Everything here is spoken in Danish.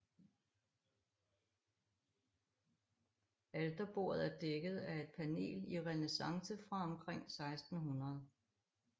Alterbordet er dækket af et panel i renæssance fra omkring 1600